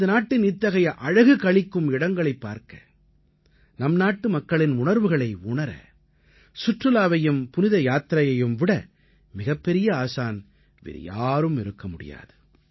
நமது நாட்டின் இத்தகைய அழகு களிக்கும் இடங்களைப் பார்க்க நம் நாட்டு மக்களின் உணர்வுகளை உணர சுற்றுலாவையும் புனித யாத்திரையையும் விட மிகப் பெரிய ஆசான் வேறு யாரும் இருக்க முடியாது